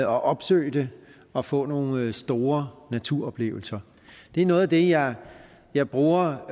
opsøge det og få nogle store naturoplevelser det er noget af det jeg jeg bruger og